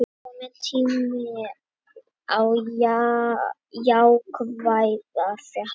Kominn tími á jákvæðar fréttir